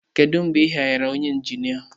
Kedu mgbe ị hayarụ onye injinia?